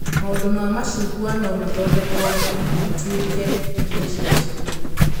Matunda ma macungwa no mathondekwo matũike irio cia ciana